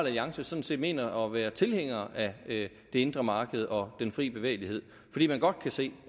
alliance sådan set mener at være tilhænger af det indre marked og den fri bevægelighed fordi man godt kan se